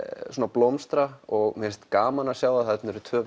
blómstra og mér finnst gaman að sjá að þarna eru tvö